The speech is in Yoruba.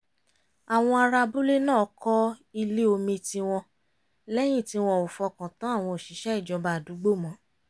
àwọn ará abúlé náà kọ́ ilé omi tiwọn lẹ́yìn tí wọn ò fọkàn tán àwọn òṣìṣẹ́ ìjọba àdúgbò mọ́